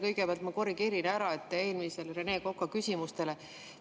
Kõigepealt ma korrigeerin ära, et te eelmisele Rene Koka küsimusele …